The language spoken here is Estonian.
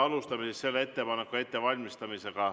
Alustame selle ettepaneku ettevalmistamist.